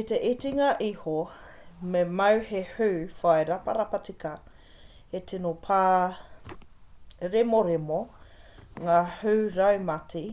i te itinga iho me mau he hū whai raparapa tika he tino pāremoremo ngā hū raumati